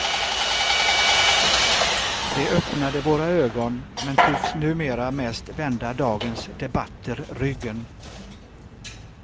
De öppnade våra ögon men tycks numera mest vända dagens debatter ryggen.